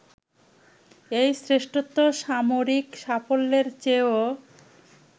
এই শ্রেষ্ঠত্ব সামরিক সাফল্যের চেয়েও